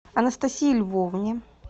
анастасии львовне